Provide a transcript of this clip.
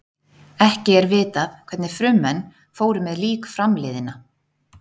Ekki er vitað hvernig frummenn fóru með lík framliðinna.